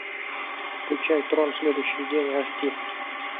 включай трон следующий день аш ди